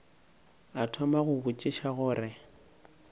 a thoma go botšiša gore